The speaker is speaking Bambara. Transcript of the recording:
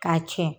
K'a tiɲɛ